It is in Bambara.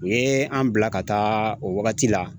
U ye an bila ka taa o wagati la